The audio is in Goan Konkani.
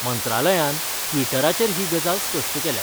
मंत्रालयान ट्विटराचेर ही गजाल स्पष्ट केल्या.